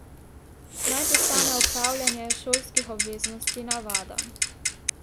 Naj postane opravljanje šolskih obveznosti navada.